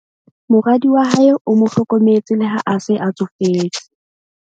Moradi wa hae o mo hlokometse le ha a se a tsofetse.